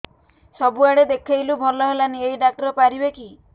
ସବୁଆଡେ ଦେଖେଇଲୁ ଭଲ ହେଲାନି ଏଇ ଡ଼ାକ୍ତର ପାରିବେ କି